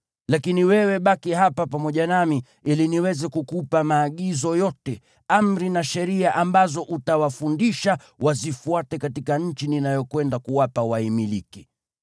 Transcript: Lakini wewe baki hapa pamoja nami ili niweze kukupa maagizo yote, amri na sheria ambazo utawafundisha wazifuate katika nchi ninayokwenda kuwapa waimiliki.”